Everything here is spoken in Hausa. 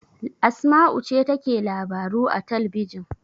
Asma'u ce take labaru a talbijin.